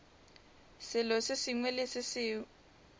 selo se sengwe le se